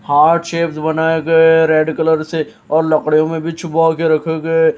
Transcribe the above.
heart shapes बनाए गए red colour से और लकड़ियों में भी छुबा के रखे गए --